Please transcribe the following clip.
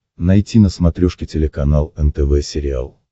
найти на смотрешке телеканал нтв сериал